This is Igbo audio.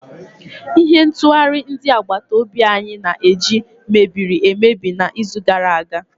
Ihe ntụghari ndi agbata obi anyi na-eji mebiri emebi n'izu gara aga